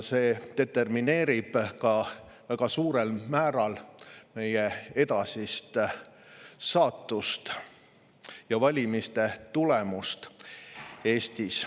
See determineerib väga suurel määral meie edasist saatust ja valimiste tulemusi Eestis.